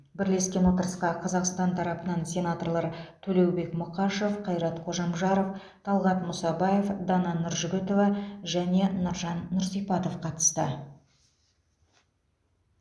бірлескен отырысқа қазақстан тарапынан сенаторлар төлеубек мұқашев қайрат қожамжаров талғат мұсабаев дана нұржігітова және нұржан нұрсипатов қатысты